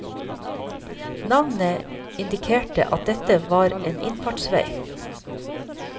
Navnet indikerte at dette var en innfartsvei.